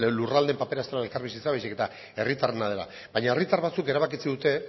lurraldeen papera ez dela elkarbizitza baizik eta herritarrena dela baina herritar batzuk erabakitzen dute